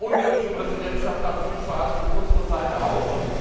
Die ungarische Präsidentschaft hat gut verhandelt, unsere Seite auch.